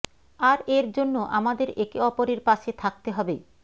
আর এর জন্য আমাদের একে অপরের পাশে থাকতে হবে